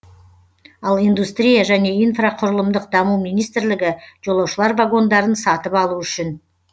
ал индустрия және инфрақұрылымдық даму министрлігі жолаушылар вагондарын сатып алу үшін